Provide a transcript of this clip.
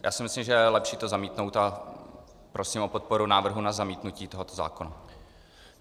Takže si myslím, že je lepší to zamítnout, a prosím o podporu návrhu na zamítnutí tohoto zákona.